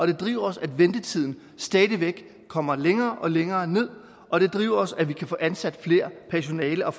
det driver os at ventetiden stadig væk kommer længere og længere ned og det driver os at vi kan få ansat mere personale og